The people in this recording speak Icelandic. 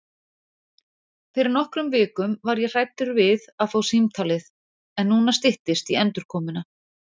Fyrir nokkrum vikum var ég hræddur við að fá símtalið en núna styttist í endurkomuna.